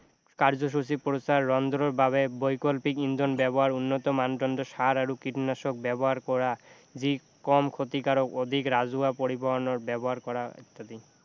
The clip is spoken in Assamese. কাৰ্য্যসূচী প্ৰচাৰ ৰন্ধনৰ বাবে বৈকল্পিক ইন্ধন ব্যৱহাৰ উন্নত মানদণ্ড সাৰ আৰু কীটনাশক ব্যৱহাৰ কৰা যি কম ক্ষতিকাৰক অধিক ৰাজহুৱা পৰিবহনৰ ব্যৱহাৰ কৰা আদি